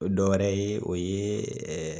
O dɔwɛrɛ ye o ye ɛ